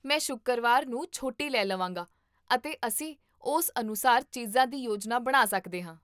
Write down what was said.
ਮੈਂ ਸ਼ੁੱਕਰਵਾਰ ਨੂੰ ਛੁੱਟੀ ਲੈ ਲਵਾਂਗਾ, ਅਤੇ ਅਸੀਂ ਉਸ ਅਨੁਸਾਰ ਚੀਜ਼ਾਂ ਦੀ ਯੋਜਨਾ ਬਣਾ ਸਕਦੇ ਹਾਂ